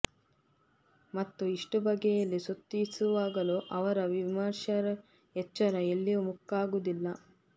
ಮತ್ತು ಇಷ್ಟು ಬಗೆಯಲ್ಲಿ ಸ್ತುತಿಸುವಾಗಲೂ ಅವರ ವಿಮಶರ್ಾ ಎಚ್ಚರ ಎಲ್ಲಿಯೂ ಮುಕ್ಕಾಗುವುದಿಲ್ಲ